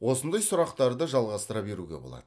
осындай сұрақтарды жалғастыра беруге болады